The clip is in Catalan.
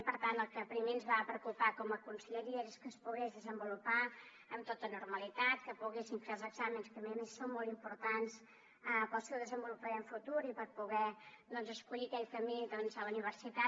i per tant el que primer ens va preocupar com a conselleria és que es pogués desenvolupar amb tota normalitat que poguessin fer els exàmens que a més a més són molt importants per al seu desenvolupament futur i per poder escollir aquell camí a la universitat